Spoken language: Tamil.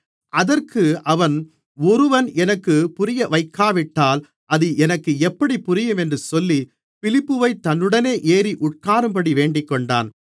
அதற்கு அவன் ஒருவன் எனக்குப் புரியவைக்காவிட்டால் அது எனக்கு எப்படி புரியும் என்று சொல்லி பிலிப்பை தன்னுடனே ஏறி உட்காரும்படி வேண்டிக்கொண்டான்